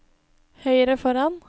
høyre foran